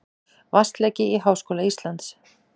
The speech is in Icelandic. Vatnsleki í Háskóla Íslands